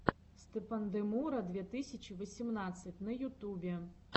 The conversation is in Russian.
степандемура две тысячи восемнадцать на ютубе